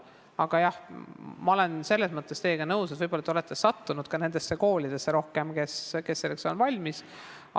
Aga jah, ma olen selles mõttes teiega nõus, kuigi te võib-olla olete sattunud rohkem nendesse koolidesse, kes selleks on valmis.